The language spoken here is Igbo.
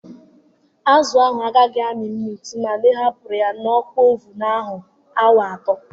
Azụ ahụ agaghị amị mmiri tụmadi ihapuru ya n'oku ovun ahụ awa atọ